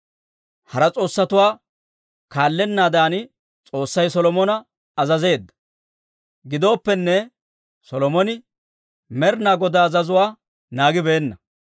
Hara s'oossatuwaa kaallennaadan S'oossay Solomona azazeedda; giddooppene, Solomone Med'inaa Godaa azazuwaa naagibeenna.